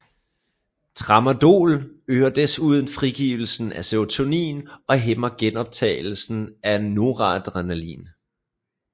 Tramadol øger desuden frigivelsen af serotonin og hæmmer genoptagelsen af noradrenalin